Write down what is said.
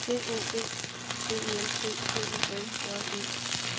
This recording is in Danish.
D O B B E L T P U L J E